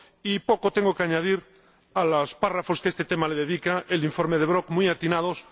Y poco tengo que añadir a los párrafos que a este tema le dedica el informe del señor Brok, muy atinados.